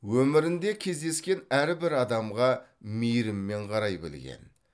өмірінде кездескен әрбір адамға мейіріммен қарай білген